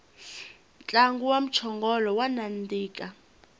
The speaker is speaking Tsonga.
ntlangu wa mchongolo wa nandika